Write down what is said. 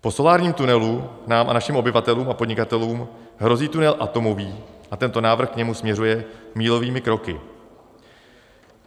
Po solárním tunelu nám a našim obyvatelům a podnikatelům hrozí tunel atomový a tento návrh k němu směřuje mílovými kroky.